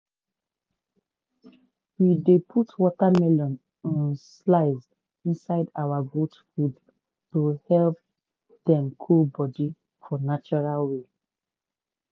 we dey put watermelon um slice inside our goat food to help dem cool body for natural way.